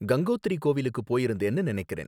கங்கோத்ரி கோவிலுக்கு போயிருந்தேன்னு நினைக்கிறேன்